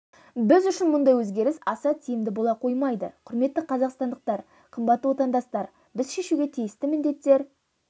біз үшін мұндай көрініс аса тиімді бола қоймайды құрметті қазақстандықтар қымбатты отандастар біз шешуге тиісті міндеттер